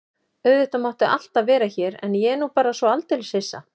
Auðvitað máttu alltaf vera hér en ég er nú bara svo aldeilis hissa.